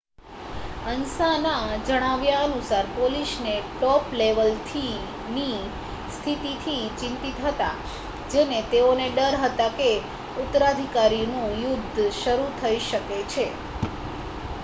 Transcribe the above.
"અન્સાના જણાવ્યા અનુસાર "પોલીસને ટોપલેવલની સ્થિતિથી ચિંતિત હતા જેને તેઓને ડર હતો કે ઉત્તરાધિકારનું યુદ્ધ શરૂ થઈ શકે છે.